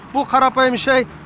бұл қарапайым шай